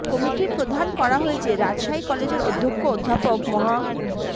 কমিটির প্রধান করা হয়েছে রাজশাহী কলেজের অধ্যক্ষ অধ্যাপক মহা